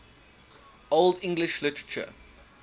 old english literature